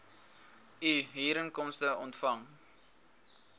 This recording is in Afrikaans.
u huurinkomste ontvang